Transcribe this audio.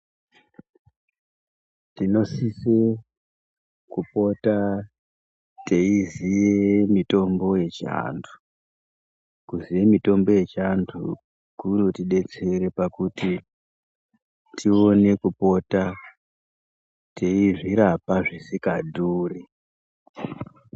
Tinosisa kupota teiziya mitombo yechiantu mitombo yechiantu inotidetsera kuti tione kupota veizvirapa zvisingadhuri.